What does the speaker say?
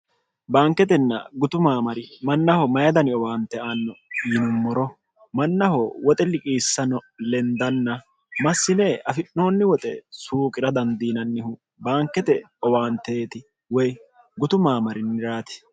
baanketenna gutu maamari mannaho mayidani owaante aanno yinummoro mannaho woxe liqiissano lendanna massine afi'noonni woxe suuqi'ra dandiinannihu baankete owaanteeti woy gutu maamarinniraati